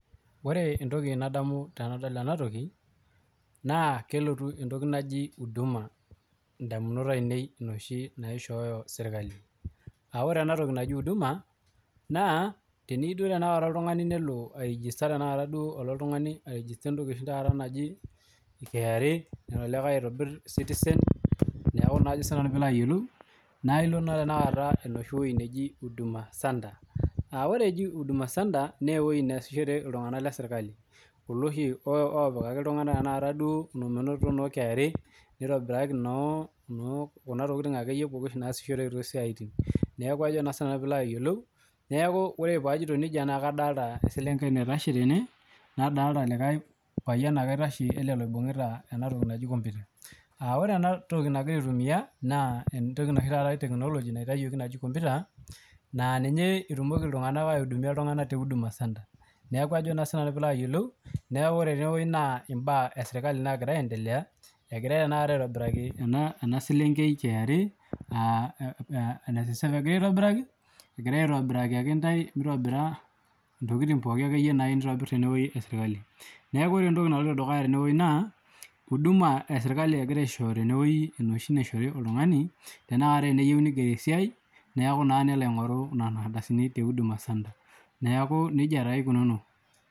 Ore entoki nadamu tenadol ena naa kelotu entoki naaji huduma edamunot ainei enoshi naishoyo sirkali ore ena toki naaji uduma naa teniyieu oltung'ani nelo airegesta oltung'ani entoki naaji KRA nelo olikae aitobir sitizen naa ilo enoshi wueji nejii huduma center ore ene neejii huduma center naa ewueji nesishore iltung'ana lee sirkali kulo oshi opikaki iltung'ana menotito noo KRA nitobiraki Kuna tokitin akeyie pookin nasishoreki too siatin neeku ore pee ajoito nejia kadolita ee selenkei naitosho tene nadolita likae payian oitashe ele likae oibungita kompita ore ena toki nagira aitumia naa entoki etekinoloji[naitowuoki naaji kompita naa ninye etumoki iltung'ana aidumiakinye iltung'ana tee huduma center neeku Ajo naa sinanu ore tenewueji naa mbaa esirkali nagira aendelea egirai aitobiraki ena selenkei KRA egirai aitobiraki akentae ntobira ntokitin nayieu nitobir ee sirkali neeku ore entoki naloito dukuya tenewueji naa huduma ee sirkali egirai aishoyo tenewueji enoshi naishoru oltung'ani teniyieu nigeri tee siai neeku naa nelo aing'oru Nena ardasini tee huduma center neeku nejia taa eikununo